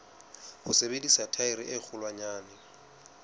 ho sebedisa thaere e kgolwanyane